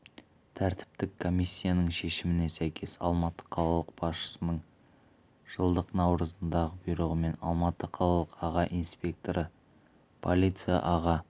тәртіптік комиссияның шешіміне сәйкес алматы қалалық басшысының жылдың наурызындағы бұйрығымен алматы қалалық аға инспекторы полиция аға